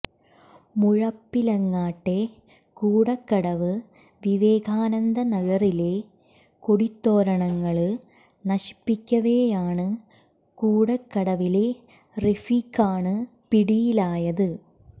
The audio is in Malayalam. മുഴപ്പിലങ്ങാട്ടെ കൂടക്കടവ് വിവേകാനന്ദ നഗറിലെ കൊടിതോരണങ്ങള് നശിപ്പിക്കവെയാണ് കൂടക്കടവിലെ റഫീഖാണ് പിടിയിലായത്